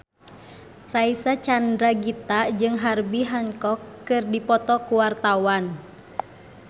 Reysa Chandragitta jeung Herbie Hancock keur dipoto ku wartawan